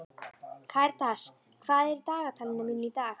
Karitas, hvað er í dagatalinu mínu í dag?